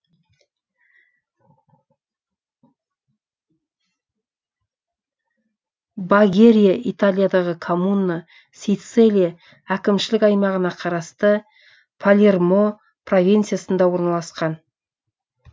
багерия италиядағы коммуна сицилия әкімшілік аймағына қарасты палермо провинциясында орналасқан